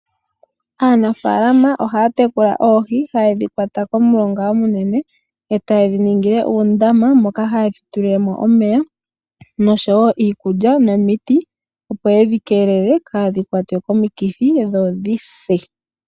Aanafaalama ohaya tekula oohi, ohaye dhi kwata komulonga omunene etayedhi ningile uundama moka hayedhi pelemo omeya, iikulya oshowoo omiti opo kadhi kwatwe komikithi dhodhise.